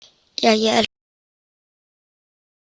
Jæja, elskan mín.